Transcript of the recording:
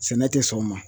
Sɛnɛ tɛ sɔn o ma